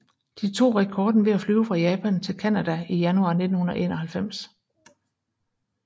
De tog rekorden ved at flyve fra Japan til Canada i januar 1991